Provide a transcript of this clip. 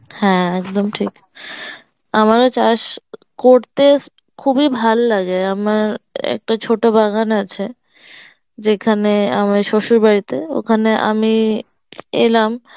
হ্যাঁ একদম ঠিক, আমারও চাষ করতে খুব এ ভালো লাগে আমার একটা চত বাগান আছে যেখানে আমার শ্বশুর বাড়িতে ওখানে আমি এলাম